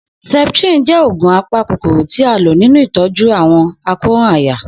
Septrin jẹ oogun apakokoro ti a lo ninu itọju awọn àkóràn àyà.